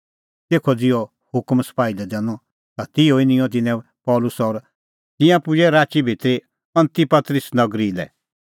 तेखअ ज़िहअ हुकम सपाही लै दैनअ त तिहअ ई निंयं तिन्नैं पल़सी और तिंयां पुजै राची भितरी अंतिपतरिस नगरी लै